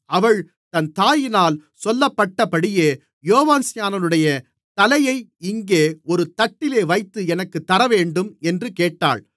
அவள் தன் தாயினால் சொல்லப்பட்டபடியே யோவான்ஸ்நானனுடைய தலையை இங்கே ஒரு தட்டிலே வைத்து எனக்குத் தரவேண்டும் என்று கேட்டாள்